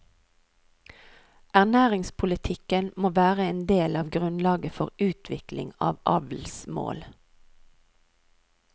Ernæringspolitikken må være en del av grunnlaget for utvikling av avlsmål.